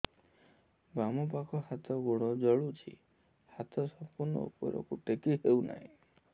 ବାମପାଖ ହାତ ଗୋଡ଼ ଜଳୁଛି ହାତ ସଂପୂର୍ଣ୍ଣ ଉପରକୁ ଟେକି ହେଉନାହିଁ